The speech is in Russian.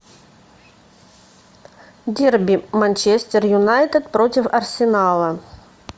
дерби манчестер юнайтед против арсенала